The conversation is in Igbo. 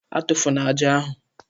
A tụfụna ájá ahu!